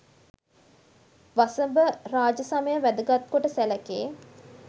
වසභ රාජ සමය වැදගත් කොට සැලකේ.